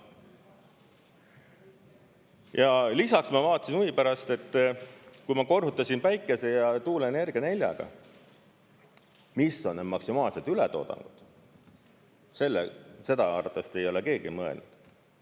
Ja lisaks ma vaatasin huvi pärast, et kui ma korrutasin päikese- ja tuuleenergia neljaga, mis on need maksimaalsed ületoodangus, siis seda arvatavasti ei ole keegi mõelnud.